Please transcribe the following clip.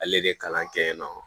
Ale de bɛ kalan kɛ yen nɔ